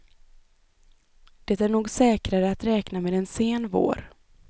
Det är nog säkrare att räkna med en sen vår.